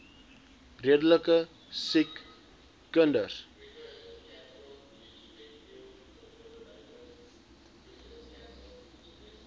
redelike siek kinders